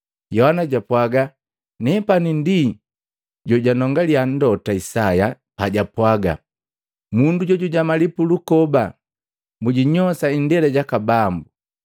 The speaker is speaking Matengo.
Yohana japwaga, “Nepani ndi jojanongaliya Mlota Isaya pajapwaga, ‘Mundu jujamali pulukoba. Mujinyosa indela jaka Bambu.’ ”